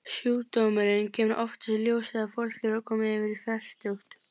Sjúkdómurinn kemur oftast í ljós þegar fólk er komið yfir fertugt.